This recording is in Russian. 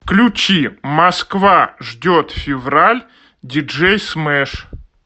включи москва ждет февраль диджей смэш